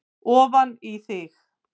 ofan í þig.